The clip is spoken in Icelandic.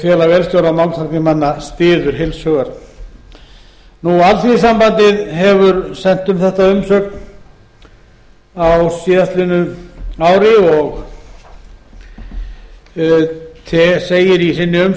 félag vélstjóra og málmtæknimanna styður heils hugar alþýðusambandið hefur sent um þetta umsögn á síðastliðnu ári og segir í sinni